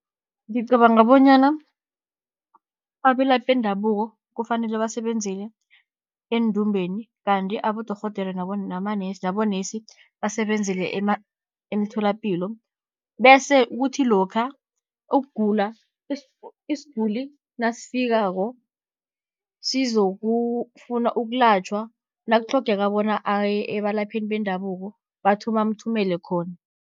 Ngicabanga bonyana abelaphi bendabuko kufanele basebenzele eendumbeni, kanti abodorhodere nabonesi basebenzele emtholapilo. Bese kuthi lokha isiguli nasifikako sizokufuna ukulatjhwa, nakutlhogeka bona aye ebalaphini bendabuko bamthumele khona.